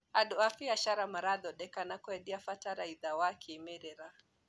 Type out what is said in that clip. Andũ a mbiacara marathondeka na kwendia bataraitha wa kĩmerera.